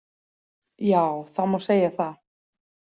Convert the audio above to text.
Já, það má segja það.